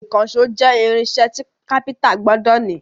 Ìkànṣó jẹ́ irinṣẹ́ tí kápẹ́ńtà gbọdọ̀ ní.